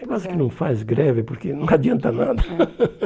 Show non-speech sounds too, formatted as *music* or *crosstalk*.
É quase que não faz greve, porque não adianta nada. *laughs* É